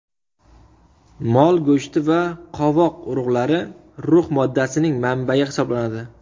Mol go‘shti va qovoq urug‘lari rux moddasining manbayi hisoblanadi.